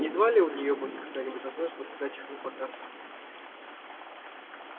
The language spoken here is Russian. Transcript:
едва ли у неё будет когда-нибудь возможность выставлять их напоказ